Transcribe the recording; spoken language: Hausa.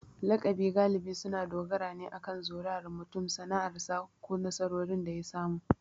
Lakabi galibi suna dogara ne akan zuriyar mutum, sana'arsa, ko nasarorin da ya samu.